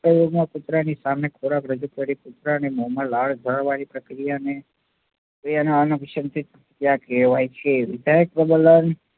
કૂતરાની સામે ખોરાક રજુ કરી કુતરાના મોમાં લાળ ઝરવાની પ્રક્રિયાને અનાભીસંધિત પ્રતિક્રિયા કહેવાય છે.